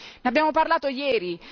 Ne abbiamo parlato ieri.